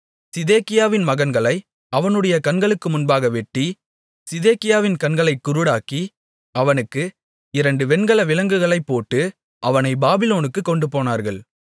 சிதேக்கியாவின் மகன்களை அவனுடைய கண்களுக்கு முன்பாக வெட்டி சிதேக்கியாவின் கண்களைக் குருடாக்கி அவனுக்கு இரண்டு வெண்கல விலங்குகளைப்போட்டு அவனை பாபிலோனுக்குக் கொண்டுபோனார்கள்